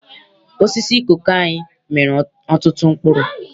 Osisi koko anyị mịrị ọtụtụ mkpụrụ.